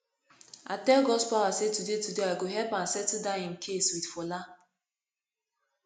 i tell godspower say today today i go help am settle dat im case with fola